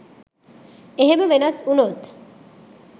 එහෙම වෙනස් වුනොත්